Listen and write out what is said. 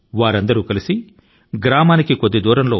వారంతా కలసికట్టు గా ఊరికి కాస్తంత దూరం లో